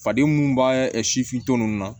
Faden munnu b'a sifin tɔ ninnu na